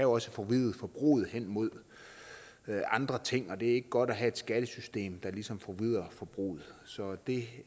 også forvride forbruget hen mod andre ting og det er ikke godt at have et skattesystem der ligesom forvrider forbruget så det